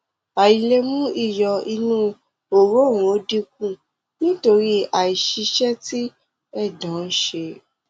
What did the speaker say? àìlè mú iyọ inú òróǹro dínkù nítorí àìṣiṣẹ tí ẹdọ ń ṣe